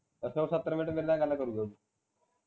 ਅੱਛਾ ਉਹ ਸਤਰ minute ਮੇਰੇ ਨਾਲ ਗੱਲ ਕਰੂਗਾ ਉਹ